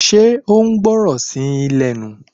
Ṣé o gbọ́ràn sí yín lẹ́nu